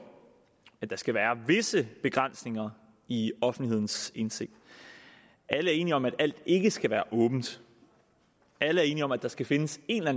at der skal være visse begrænsninger i offentlighedens indsigt alle er enige om at alt ikke skal være åbent alle er enige om der skal findes en eller